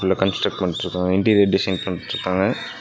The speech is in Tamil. இதுல கன்ஸ்ட்ரக்ட் பண்ணிட்ருக்காங்க இன்டீரியர் டிசைன் பண்ணிட்ருக்காங்க.